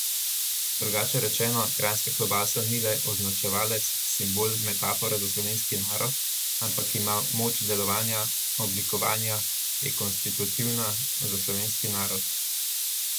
Drugače rečeno, kranjska klobasa ni le označevalec, simbol, metafora za slovenski narod, ampak ima moč delovanja, oblikovanja, je konstitutivna za slovenski narod.